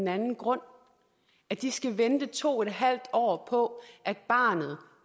anden grund de skal vente to en halv år på at barnet